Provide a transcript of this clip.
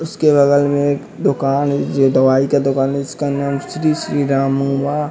उसके बगल में एक दुकान है ये दवाई का दुकान है जिसका नाम श्री श्री राम --